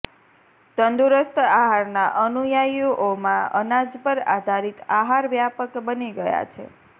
તંદુરસ્ત આહારના અનુયાયીઓમાં અનાજ પર આધારિત આહાર વ્યાપક બની ગયા છે